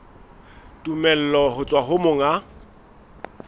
tumello ho tswa ho monga